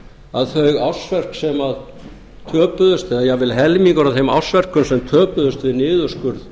að þau ársverk sem töpuðust eða jafnvel helmingur af þeim ársverkum sem töpuðust við niðurskurð